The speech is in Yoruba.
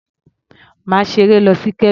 Má ṣeré lọ sí Kebbi.